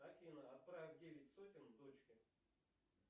афина отправь девять сотен дочке